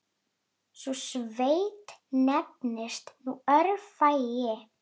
Sú sveit nefnist nú Öræfi.